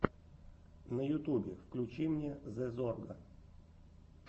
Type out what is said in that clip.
на ютубе включи мне зэ зорга